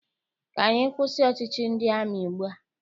Ka anyị kwụsị ọchịchị ndị amị ugbua!